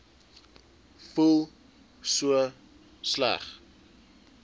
voel so sleg